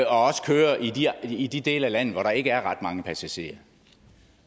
også kører i de dele af landet hvor der ikke er ret mange passagerer